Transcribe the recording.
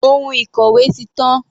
Ohun ìkòwé ti tán.